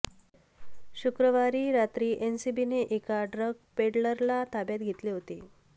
शुक्रवारी रात्री एनसीबीने एका ड्रग पेडलरला ताब्यात घेतले होते